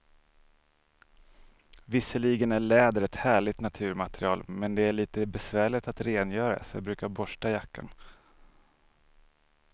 Visserligen är läder ett härligt naturmaterial, men det är lite besvärligt att rengöra, så jag brukar borsta jackan.